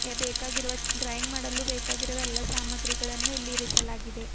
A ಬೇಕಾಗಿರುವ drawing ಮಾಡಲು ಬೇಕಾಗಿರುವ ಎಲ್ಲಾ ಸಾಮಗ್ರಿಗಳನ್ನು ಇಲ್ಲಿ ಇರಿಸಲಾಗಿದೆ.